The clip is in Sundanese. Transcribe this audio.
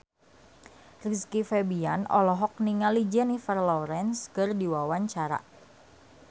Rizky Febian olohok ningali Jennifer Lawrence keur diwawancara